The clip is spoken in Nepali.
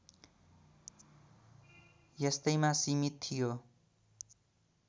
यस्तैमा सीमित थियो